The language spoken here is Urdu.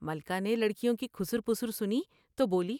ملکہ نے لڑکیوں کی کھسر پسرسنی تو بولی ۔